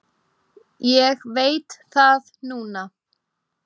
Ég veit það núna.